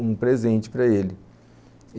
um presente para ele.